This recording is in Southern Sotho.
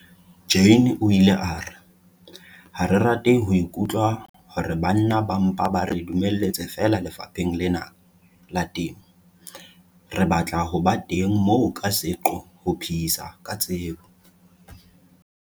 Jane o ile a re- 'Ha re rate ho ikutlwa hore banna ba mpa ba re dumelletse feela lefapheng lena la temo, re batla ho ba teng moo ka seqo ho phehisa ka tsebo'.